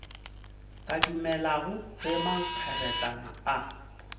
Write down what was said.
ka dumelago ge mankgeretlana a